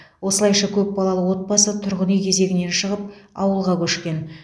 осылайша көпбалалы отбасы тұрғын үй кезегінен шығып ауылға көшкен